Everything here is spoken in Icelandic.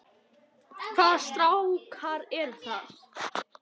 Hvaða strákar eru það?